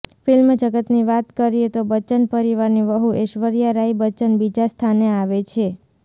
film જગતની વાત કરીએ તો બચ્ચન પરિવારની વધૂ એશ્વર્યા રાય બચ્ચન બીજા સ્થાને આવે છે